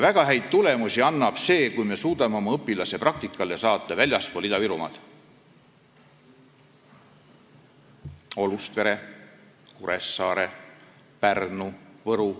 Väga häid tulemusi annab see, kui me suudame oma õpilase praktikale saata väljapoole Ida-Virumaad: Olustverre, Kuressaarde, Pärnusse, Võrru.